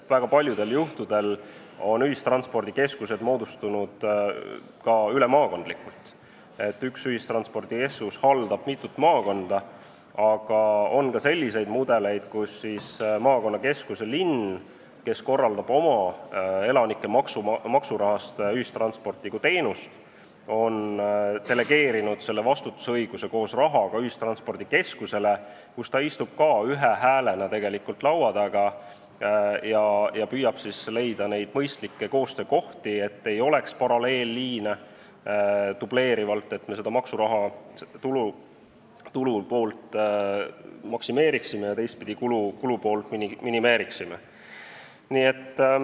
Väga paljudel juhtudel on ühistranspordikeskused moodustunud ka ülemaakondlikult, st üks ühistranspordikeskus haldab mitut maakonda, aga on ka selliseid mudeleid, kus siis maakonnakeskus – linn, kes korraldab ühistransporti kui teenust oma elanike maksuraha eest – on delegeerinud vastutusõiguse koos rahaga ühistranspordikeskusele, kus ta istub ka ühe häälena laua taga ja püüab siis leida neid mõistlikke koostöökohti, et ei oleks dubleerimist, paralleelliine ning et me ühtpidi maksuraha tulupoolt maksimeeriksime ja teistpidi kulupoolt minimeeriksime.